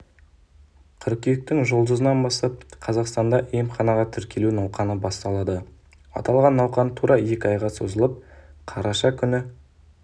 қыркүйектің жұлдызынан бастап қазақстанда емханаға тіркелу науқаны басталады аталған науқан тура екі айға созылып қараша күні